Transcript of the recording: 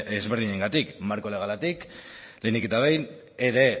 ezberdinengatik marko legalatik lehenik eta behin ere